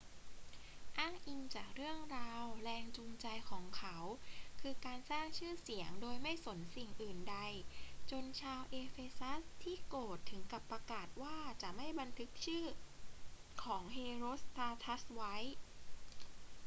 อ้างอิงจากเรื่องราว แรงจูงใจของเขาคือการสร้างชื่อเสียงโดยไม่สนสิ่งอื่นใด จนชาวเอเฟซัสที่โกรธถึงกับประกาศว่าจะไม่บันทึกชื่อของเฮโรสตราทัสไว้